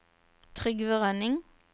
Trygve Rønning